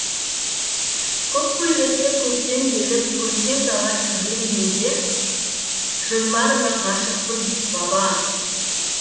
көк көйлекті көктем келіп көркем дала түрленгенде жырларыңа ғашықпын баба